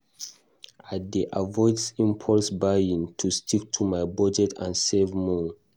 I dey avoid impulse buying to stick to my budget and save more.